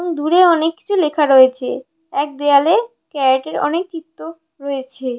এবং দূরে অনেক কিছু লেখা রয়েছে এক দেয়ালে ক্যারেটে -এর অনেক চিত্র রয়েছে।